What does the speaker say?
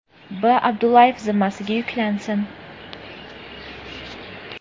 B. Abdullayev zimmasiga yuklansin.